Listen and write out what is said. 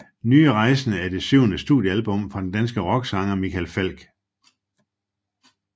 Nye rejsende er det syvende studiealbum fra den danske rocksanger Michael Falch